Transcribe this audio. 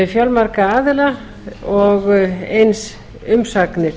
fjölmarga aðila og eins umsagnir